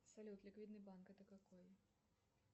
салют ликвидный банк это какой